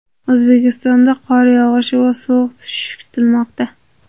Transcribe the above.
O‘zbekistonda qor yog‘ishi va sovuq tushishi kutilmoqda.